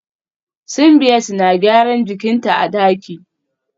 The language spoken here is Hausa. Simbiat na gyaran jikin ta a daki